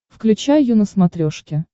включай ю на смотрешке